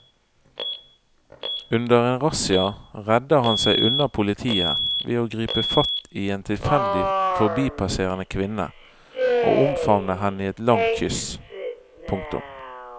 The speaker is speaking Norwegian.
Under en razzia redder han seg unna politiet ved å gripe fatt i en tilfeldig forbipasserende kvinne og omfavne henne i et langt kyss. punktum